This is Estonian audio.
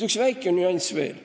Üks väike nüanss on veel.